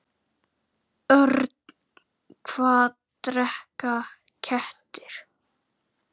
Annað skipti minna máli.